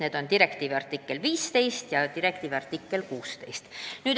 Need on artikkel 15 ja artikkel 16.